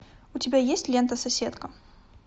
у тебя есть лента соседка